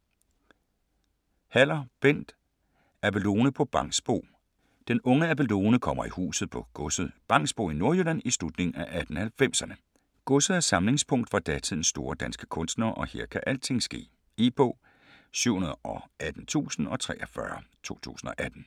Haller, Bent: Abelone på Bangsbo Den unge Abelone kommer i huset på godset Bangsbo i Nordjylland i slutningen af 1890'erne. Godset er samlingspunkt for datidens store danske kunstnere og her kan alting ske. E-bog 718043 2018.